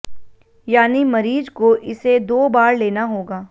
यानी मरीज को इसे दो बार लेना होगा